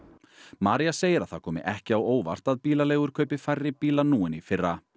María segir að það komi ekki á óvart að bílaleigur kaupi færri bíla nú en í fyrra